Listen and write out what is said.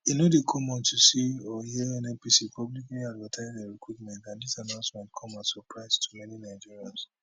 e no dey common to see or hear nnpc publicly advertise dia recruitment and dis announcement come as surprise to many nigerians